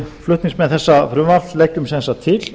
flutningsmenn þessa frumvarps leggjum sem sagt til